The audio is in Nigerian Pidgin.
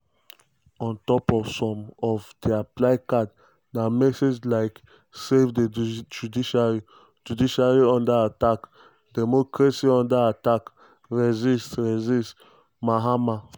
on top some of dia placards na messages like; "savethejuiciary" "judiciaryunderattack" "democracyunderattack" "resist "resist mahama